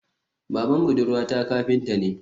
Baban budurwata kafinta ne